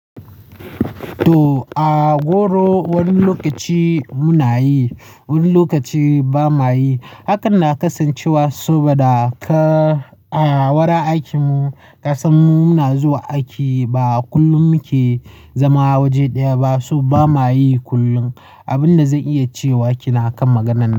To, a goro wani lokaci muna yi, wani lokaci ba ma yi. Hakan na kasancewa saboda a wurin aikin mu, ƙasan mu muna zuwa aiki ba kullum muke zama waje ɗaya ba, so ba ma yi kullum. Abin da zan iya cewa kenan a kan maganar nan.